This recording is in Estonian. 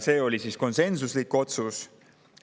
See oli konsensuslik otsus.